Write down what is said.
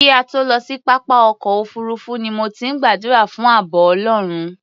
Kí a tó lọ sí pápá ọkọ̀ òfuurufú ni mo ti ń gbàdúrà fún ààbọ̀ Ọlọ́run.